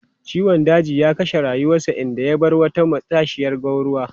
Ciwon daji ya kashe rayuwarsa, inda ya bar wata matashiyar gwanruwa.